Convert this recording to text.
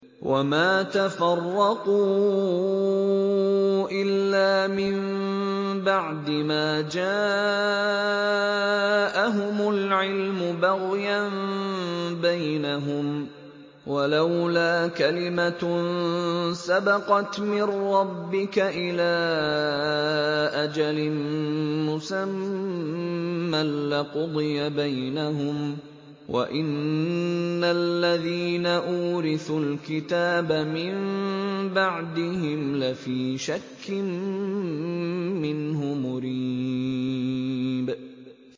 وَمَا تَفَرَّقُوا إِلَّا مِن بَعْدِ مَا جَاءَهُمُ الْعِلْمُ بَغْيًا بَيْنَهُمْ ۚ وَلَوْلَا كَلِمَةٌ سَبَقَتْ مِن رَّبِّكَ إِلَىٰ أَجَلٍ مُّسَمًّى لَّقُضِيَ بَيْنَهُمْ ۚ وَإِنَّ الَّذِينَ أُورِثُوا الْكِتَابَ مِن بَعْدِهِمْ لَفِي شَكٍّ مِّنْهُ مُرِيبٍ